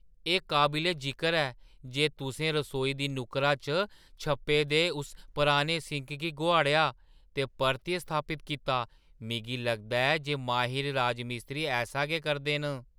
एह् काबले-जिकर ऐ जे तुसें रसोई दी नुक्करा च छप्पे दे उस पराने सिंक गी गोहाड़ेआ ते परतियै स्थापत कीता। मिगी लगदा ऐ जे माहिर राजमिस्त्री ऐसा गै करदे न।